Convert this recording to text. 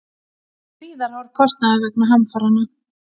Gríðarhár kostnaður vegna hamfaranna